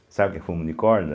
Sabe o que é fumo de corda?